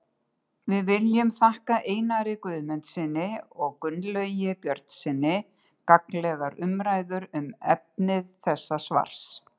Við viljum þakka Einari Guðmundssyni og Gunnlaugi Björnssyni gagnlegar umræður um efni þessa svars.